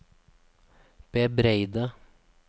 bebreide